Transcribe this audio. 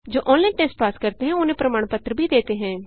जो online test pass करते हैं उन्हें प्रमाण पत्र भी देते हैं